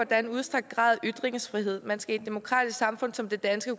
er en udstrakt grad af ytringsfrihed man skal i et demokratisk samfund som det danske